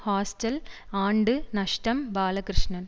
hostel ஆண்டு நஷ்டம் பாலகிருஷ்ணன்